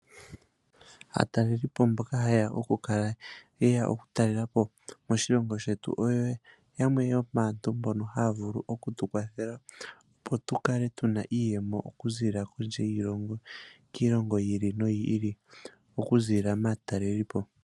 Aataleli po mboka hayeya okukala yeya okutalela po modhilongo shetu oyo yamwe yomaantu mbono haya vulu okutukwathela opo tukale tuna iiyemo okuziilila kondje yiilongo, kiilongo yi ili noyi ili okuziilila maataleli po.